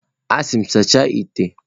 A sị m, sachaa ite!